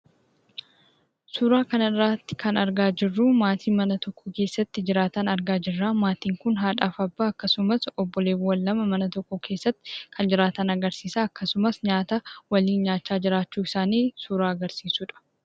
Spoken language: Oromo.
Suuraa kanarratti kan argaa jirruu, maatii mana tokko keessatti jiraataa jiran argaa jirraa, maatiin kun haadhaaf abbaa akkasumas obboleewwan lama mana tokko keessatti kan jiraatan agarsiisaa. Akkasumas nyaata waliin nyaachaa jiraachuu isaanii suuraa agarsiisudha.